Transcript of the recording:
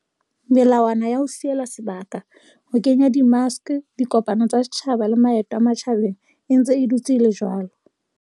Melawana ya ho sielana sebaka, ho kenya di maske, dikopano tsa setjhaba le maeto a matjhabeng e ntse e dutse e le jwalo.